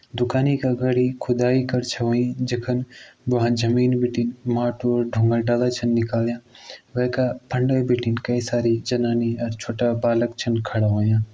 दुकान का अगाडी खुदाई कर छ होईं जखन व्हा जमीन बिटि माटू और ढुंगा डाला छन निकल्यां वैका फंडे बिटिन कई सारी ज़नानी और छोटा बालक छन खड़ा होयां--